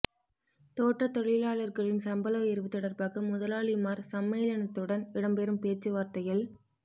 தோட்டத் தொழிலாளர்களின் சம்பள உயர்வு தொடர்பாக முதலாளிமார் சம்மேளனத்துடன் இடம்பெறும் பேச்சுவார்த்தையில